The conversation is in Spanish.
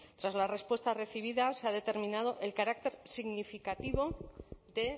tras la respuesta recibida se ha determinado el carácter significativo de